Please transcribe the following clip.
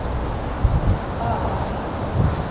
avganger